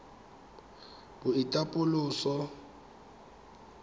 boitapoloso